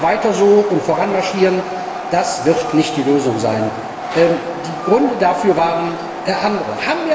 Einfach weiter so und voranmarschieren, das wird nicht die Lösung sein. Die Gründe dafür waren andere.